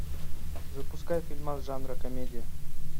запускай фильмас жанра комедия